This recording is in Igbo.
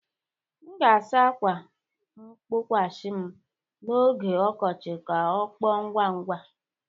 M ga-asa ákwà mgbokwasị m n'oge ọkọchị ka ọ kpọọ ngwa ngwa.